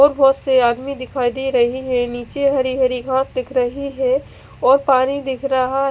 और बहत से आदमी दिखाई दे रही है नीचे हरी हरी घास दिख रही है और पानी दिख रहा--